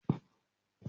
Emi ni mo lo ìbojú funfun.